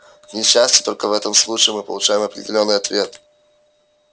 к несчастью только в этом случае мы получаем определённый ответ